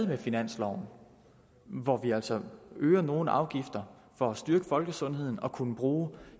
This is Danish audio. med finansloven hvor vi altså øger nogle afgifter for at styrke folkesundheden og kunne bruge